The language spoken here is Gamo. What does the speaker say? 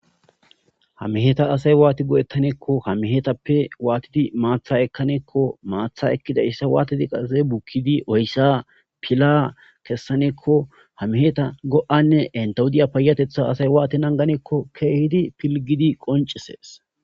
Ha meheta asay waati go'etane giikko ha mehetappe waatidi maaththa ekkane giikko maaththa ekkidayssa qasse waattidi bukkidi oyssa pila kessane giikko ha meheta go'anne entaw diya payyateththa asay waatti nagane giikko keehidi pilggidi qonccises.